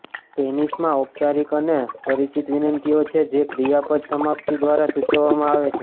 સ્પેનિશમાં ઔપચારિક અને પરિચિત વિનંતીઓ છે જે ક્રિયાપદ સમાપ્તિ દ્વારા સૂચવવામાં આવે છે